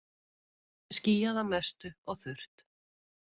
Skýjað að mestu og þurrt